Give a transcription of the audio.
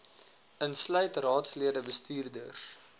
insluit raadslede bestuurders